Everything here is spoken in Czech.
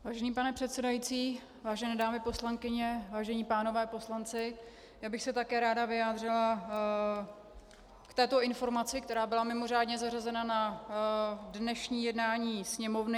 Vážený pane předsedající, vážené dámy poslankyně, vážení páni poslanci, já bych se také ráda vyjádřila k této informaci, která byla mimořádně zařazena na dnešní jednání Sněmovny.